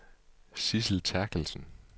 Sidsel Therkelsen